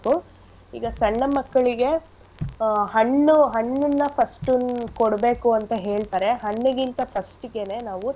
ಈಗ ಸಣ್ಣ ಮಕ್ಳಿಗೆ ಆಹ್ ಹಣ್ಣು ಹಣ್ಣನ್ನ first ಉ ಕೊಡ್ಬೇಕು ಅಂತ ಹೇಳ್ತರೆ ಹಣ್ಣಿಗಿಂತ first ಗೆನೇ ನಾವು.